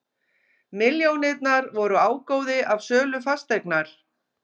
Milljónirnar voru ágóði af sölu fasteignar